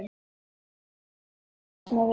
Magnús Hlynur: Það hefur dafnað vel?